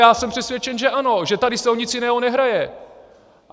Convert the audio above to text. Já jsem přesvědčen, že ano, že tady se o nic jiného nehraje.